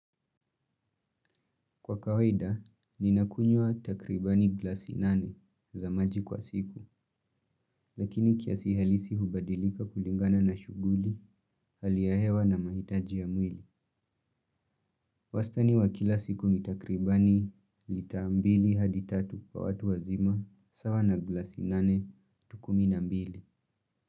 Kwa kawaida, ninakunywa takribani glasi nane za maji kwa siku, lakini kiasi halisi hubadilika kulingana na shughuli, hali ya hewa na mahitaji ya mwili. Wastani wa kila siku ni takribani lita mbili hadi tatu kwa watu wazima, sawa na glasi nane tu kumi na mbili.